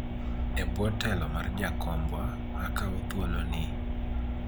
ebwo telo mar jakombwa , akawo thuolo ni